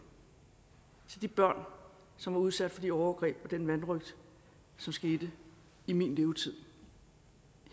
til de børn som var udsat for de overgreb og den vanrøgt som skete i min levetid